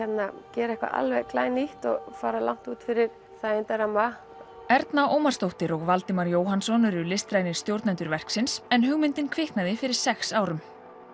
gera eitthvað alveg glænýtt og fara langt út fyrir þægindaramma Erna Ómarsdóttir og Valdimar Jóhannsson eru listrænir stjórnendur verksins en hugmyndin kviknaði fyrir sex árum